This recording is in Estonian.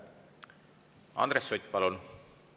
Andres Sutt, palun!